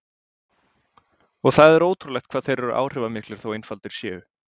Og það er ótrúlegt hvað þeir eru áhrifamiklir þó einfaldir séu.